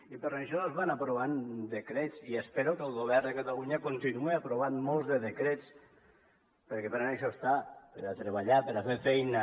i per això es van aprovant decrets i espero que el govern de catalunya continuï aprovant molts de decrets perquè per a això està per a treballar per a fer feina